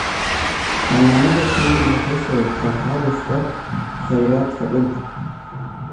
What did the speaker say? Xannaanada shinnidu waxay sababtaa xaalufka kheyraadka dhulka.